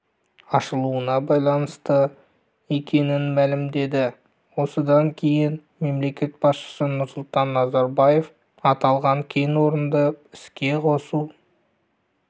ашылуына байланысты екенін мәлімдеді осыдан кейін мемлекет басшысы нұрсұлтан назарбаев аталған кен орынды іске қосу